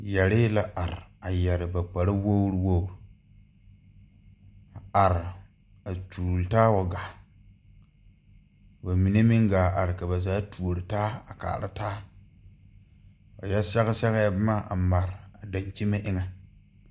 Yɛrree la are a yɛre ba kpare wogre wogre a are a tuure taa wa gaa ka ba mine meŋ gaa are ka ba zaa tuore taa a kaara taa ba yɛ sɛge sɛgɛɛ bomma a mare dankyime eŋɛ.